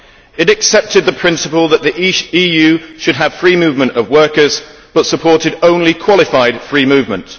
It accepted the principle that the EU should have free movement of workers but it supported only qualified free movement.